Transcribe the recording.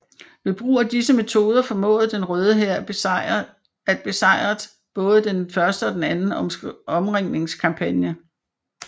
Ved brug af disse metode formåede den Røde Hær at besejret både den første og anden omringningskampagne